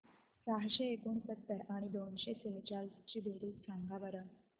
सहाशे एकोणसत्तर आणि दोनशे सेहचाळीस ची बेरीज सांगा बरं